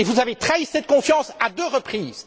Vous avez trahi cette confiance à deux reprises.